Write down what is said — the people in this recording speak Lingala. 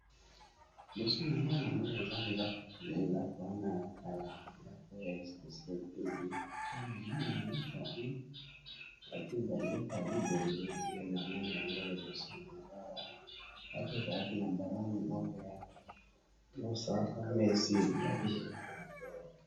Liboso nangai nazomona eza ndako eza ba ndako oyo yakala liboso nango batiye balibembe ndenamoni liboso nanga awa